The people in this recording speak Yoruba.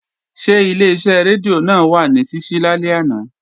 Ṣé Ileṣẹ́ rédíò náà wà ní ṣíṣí lálẹ́ àná?